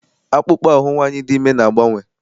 Akpụkpọ ahụ nwaanyị dị ime na-agbanwe.